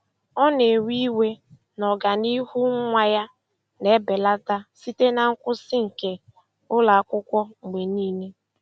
Ọ na-ewe iwe na ọganihu nwa ya na-ebelata site na nkwụsị nke ụlọ akwụkwọ mgbe niile.